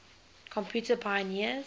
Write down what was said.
computer pioneers